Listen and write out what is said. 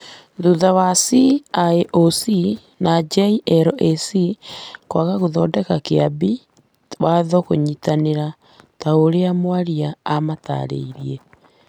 thutha wa CIOC na JLAC kwaga gũthondeka Kĩambi Watho kĩnyitanĩyĩ ta ũrĩa mwaria amataarire.